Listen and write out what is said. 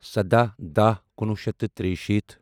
سَداہ داہ کُنوُہ شیٚتھ تہٕ تریہِ شیٖتھ